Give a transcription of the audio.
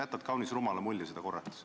Sa jätad kaunis rumala mulje seda korrates.